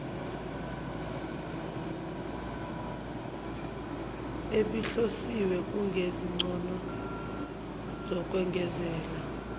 ebihlosiwe kunezincomo zokwengezela